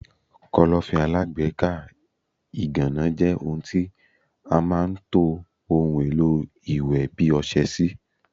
Kọ́lọ́fín alágbèékọ́ ìgànná jẹ́ ohun tí a máa ń to ohun èlò iwe bi ọsẹ sí.